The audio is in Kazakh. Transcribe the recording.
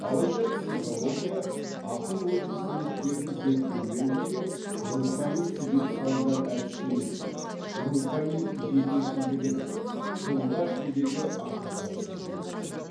алайда психология ақыл ой қызметтерін зерттеумен бірге рухани себеп салдар әдістемесі рухани жекешілдігінің тұлға ішіндегі ақиқатты зерттеу